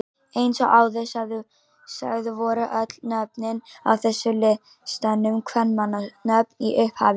Eins og áður sagði voru öll nöfnin á þessum listum kvenmannsnöfn í upphafi.